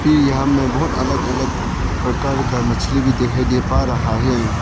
कि यहां में बहुत अलग अलग प्रकार का मछली भी दिखाई दे पा रहा है।